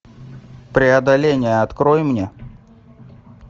преодоление открой мне